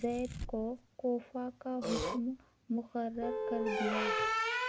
زیاد کو کوفہ کا حاکم مقرر کر دیا